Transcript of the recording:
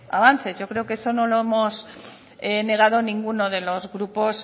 avances yo creo que eso no lo hemos negado ninguno de los grupos